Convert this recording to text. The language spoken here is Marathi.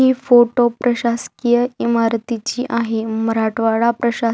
ही फोटो प्रशासकीय इमारतीची आहे मराठवाडा प्रशा --